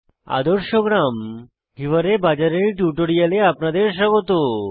আদর্শ গ্রাম হিওয়ারে বাজার এর টিউটোরিয়ালে আপনাদের স্বাগত